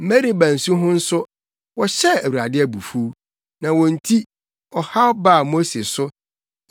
Meriba nsu ho nso, wɔhyɛɛ Awurade abufuw, na wɔn nti, ɔhaw baa Mose so,